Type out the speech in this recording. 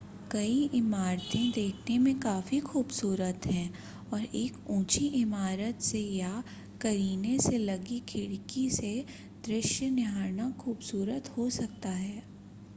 कई इमारतें देखने में काफी खूबसूरत हैं और एक ऊंची इमारत से या करीने से लगी खिड़की से दृश्य निहारना खूबसूरत हो सकता है